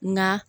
Nka